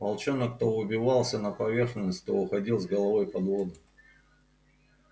волчонок то выбивался на поверхность то уходил с головой под воду